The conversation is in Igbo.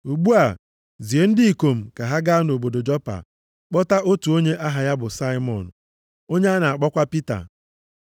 Ugbu a, zie ndị ikom ka ha gaa nʼobodo Jopa kpọta otu onye aha ya bụ Saimọn, onye a na-akpọkwa Pita.